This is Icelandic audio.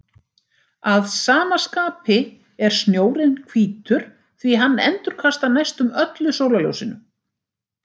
Að sama skapi er snjórinn hvítur því hann endurkastar næstum öllu sólarljósinu.